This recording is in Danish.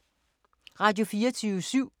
Radio24syv